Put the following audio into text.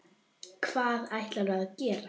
Hvað ætlarðu að gera?